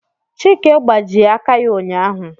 Chike gbajie aka ya ụnyaahụ